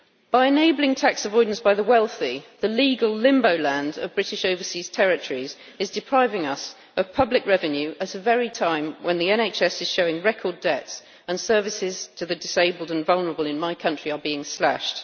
By enabling tax avoidance by the wealthy, the legal limbo land of British overseas territories is depriving us of public revenue at the very time when the NHS is showing record debts and services to the disabled and vulnerable in my country are being slashed.